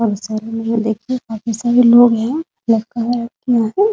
काफी सारे लोग देखिए काफी सारे लोग है लड़का हैलडकियाँ है ।